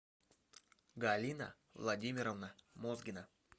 галина владимировна мозгина